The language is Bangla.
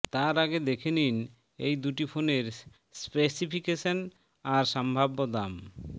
তার আগে দেখে নিন এই দুটি ফোনের স্পেসিফিকেশন আর সম্ভাব্য দাম